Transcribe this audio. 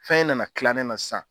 Fɛn in nana tila ne na san